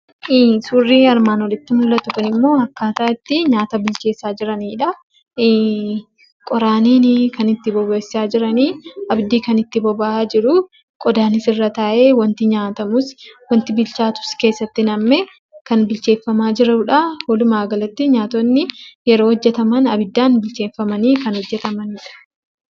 Suurri armaan olitti mul'atu kunimmoo akkaataa itti nyaata bilcheessaa jiranidha. Qoraaniin kan itti bobeessaa jiranii abiddi kan itti boba'aa jiru qodaanis irra taa'ee wanti nyaatamus wanti bilchaatus keessatti nam'ee kan bilcheeffamaa jirudha. Walumaa galatti nyaatonni yeroo hojjataman kan abiddaan bilcheeffamanii hojjatanidha.